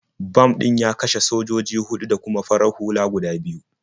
Bam ɗin ya kashe sojoji huɗu da kuma farar hula guda biyu.